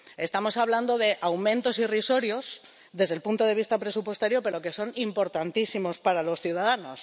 Estamos hablando de aumentos irrisorios desde el punto de vista presupuestario pero que son importantísimos para los ciudadanos.